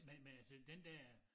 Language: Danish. Men men altså den dér